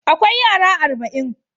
Akwai yara arba'in.